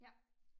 Ja